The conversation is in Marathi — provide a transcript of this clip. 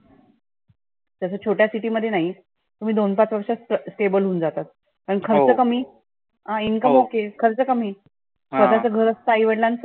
तसंं छोट्या city मध्ये नाही. तुम्ही दोन पाच वर्षात stable होऊन जातात. आणि खर्च कमी income ok खर्च कमी. स्वतःच घर असतं आई वडिलांच.